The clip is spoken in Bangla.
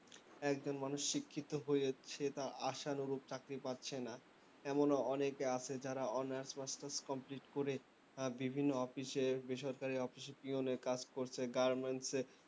একজন মানুষ শিক্ষিত হয়ে যাচ্ছে তার আশানরুপ চাকরি পাচ্ছে না এমনও অনেকে আছে যারা honours বা course tourse complete করে ভিবিন্ন office এ বেসরকারি office এ pieon এর কাজ করছে garments এ